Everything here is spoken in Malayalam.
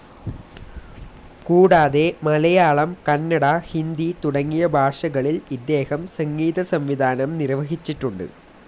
കൂടാതെ മലയാളം, കന്നട, ഹിന്ദി, തുടങ്ങിയ ഭാഷകളിൽ ഇദ്ദേഹം സംഗീത സംവിധാനം നിർവഹിച്ചിട്ടുണ്ട്.